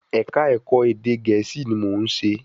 Ẹ̀kà Ẹ̀kọ́ ẹ̀dẹ̀ Gẹ̀ẹ́sì ni mò ún ṣe